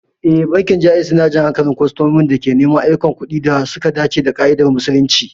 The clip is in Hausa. Ee, bankin Jaiz yana jan hankalin kwastomomin da ke neman ayyukan kuɗi da suka dace da ƙa'idar Musulunci.